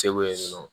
Segu yen nɔ